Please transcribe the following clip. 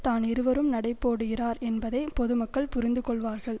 தான் இருவரும் நடைபோடுகிறார் என்பதை பொதுமக்கள் புரிந்துகொள்வார்கள்